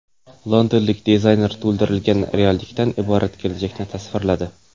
Londonlik dizayner to‘ldirilgan reallikdan iborat kelajakni tasvirladi .